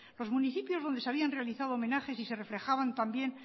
los municipios donde se habían realizado homenajes y se reflejaban también